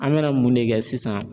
An bɛna mun de kɛ sisan